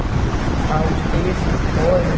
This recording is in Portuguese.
Estavam difíceis as coisas.